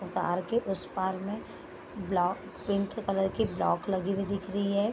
तार के उस पार में बला पिंक कलर की ब्लॉक लगी हुई दिख रही है।